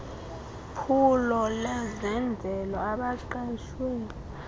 phulo lezenzele abaqeshwe